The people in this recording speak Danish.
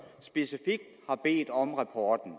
specifikt har bedt om rapporten